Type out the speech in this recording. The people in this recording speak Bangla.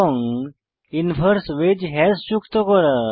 এবং ইনভার্স ওয়েজ হ্যাশ যোগ করা